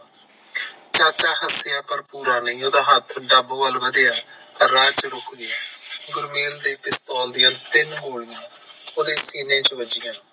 ਚਾਚਾ ਹਾਸਿਆਂ ਪਰ ਪੂਰਾ ਨਹੀਂ ਓਦਾਂ ਹੱਥ ਡੱਬ ਵੱਲ ਵਧਿਆ, ਪਰ ਰਾਹ ਚ ਰੁਕ ਗਯਾ, ਗੁਰਮੇਲ ਦੇ ਪਿਸਤੌਲ ਦੀਆ ਤਿੰਨ ਗੋਲੀਆਂ ਓਹਦੇ ਸੀਨੇ ਚ ਵਾਜਿਆਂ